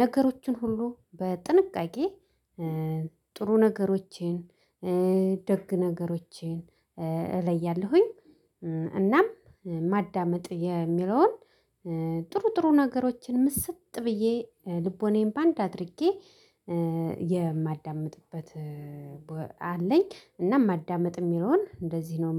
ነገሮችን ሁሉ በጥንቃቄ ጥሩ ነገሮቼን ደግ ነገሮቼን እለያለሁኝ። እናም ማዳመጥ የሚለውን። ጥሩ ጥሩ ነገሮችን ምስጥ ብዬ ልቦናዬን በአንድ አድርጌ የማዳምጥበት አለኝ። እና ማዳመጥ የሚለውን እንደዚህ ነው